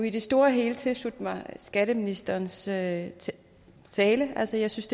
i det store og hele tilslutte mig skatteministerens tale tale altså jeg synes